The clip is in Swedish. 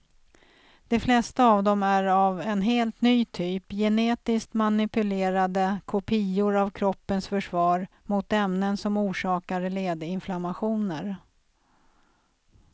De flesta av dem är av en helt ny typ, genetiskt manipulerade kopior av kroppens försvar mot ämnen som orsakar ledinflammationer.